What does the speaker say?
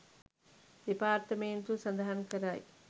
දෙපාර්තමේන්තුව සඳහන් කරයි